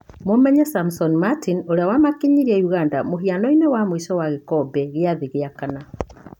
Mũmenye Samson Mertin ũrĩa wamakinyirie Ũganda mũhianoinĩ wa mũico ma gĩkombe gĩa thĩ gĩa kana.